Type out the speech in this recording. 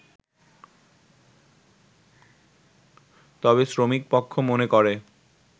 তবে শ্রমিকপক্ষ মনে করে